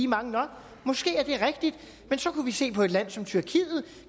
mange nok måske er det rigtigt men så kunne vi se på et land som tyrkiet